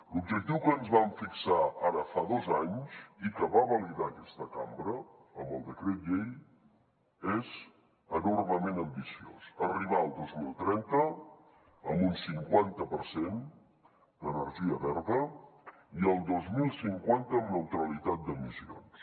l’objectiu que ens vam fixar ara fa dos anys i que va validar aquesta cambra amb el decret llei és enormement ambiciós arribar al dos mil trenta amb un cinquanta per cent d’energia verda i al dos mil cinquanta amb neutralitat d’emissions